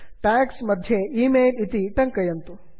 tags tags मध्ये email email इति टङ्कयन्तु